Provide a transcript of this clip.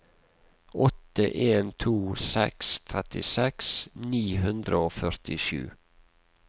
åtte en to seks trettiseks ni hundre og førtisju